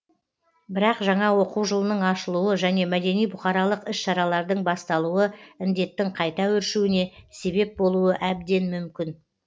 бірақ жаңа оқу жылының ашылуы және мәдени бұқаралық іс шаралардың басталуы індеттің қайта өршуіне себеп болуы әбден мүмкін